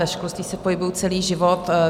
Ve školství se pohybuji celý život.